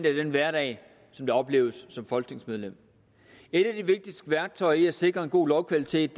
er den hverdag der opleves som folketingsmedlem et af de vigtigste værktøjer til at sikre en god lovkvalitet